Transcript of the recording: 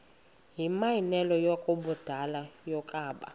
yimianelo yabadala yokaba